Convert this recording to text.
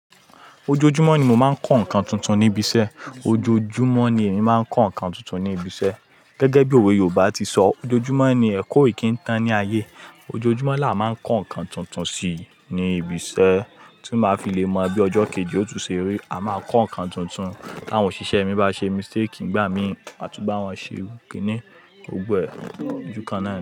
Ojoojumọ ni mo máa ń kọ́ nǹkan tuntun ní ibi iṣẹ́. Ojoojúmọ́ ni èmi máa ń kọ́ nǹkan tuntun ní ibi iṣẹ́. Gẹ́gẹ́ bí òwe yoòbá ti sọ, "Ojoojúmọ́ ni ẹ kó ìkíńtan ní ayé." Ojoojúmọ́ làá máa ń kọ́ nǹkan tuntun si ní ibi iṣẹ́ tí ń máa fi lè mọ bí ọjọ́ kejì ó tún ṣe rí. A máa kọ́ nǹkan tuntun táwọn òṣìṣẹ́ mi bá ṣe mistake nígbà mí àtú bá wọn ṣe ìrúkì ní ogbẹ ojú kan náà.